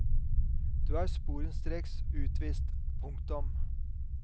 Du er sporenstreks utvist. punktum